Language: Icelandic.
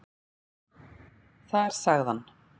Þar sagði hann.